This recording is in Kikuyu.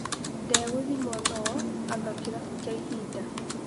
Ndeguthimwo no-anga kĩrabu kĩa ihinda.